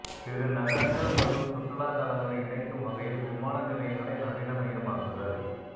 சிறு நகரங்கள் மற்றும் சுற்றுலாத் தளங்களை இணைக்கும் வகையில் விமான நிலையங்களை நவீனமயமாக்குதல்